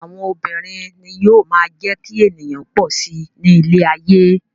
Àwọn obìnrin ni yóò máa jẹ́ kí ènìyàn pọ̀ si ní ilé ayé.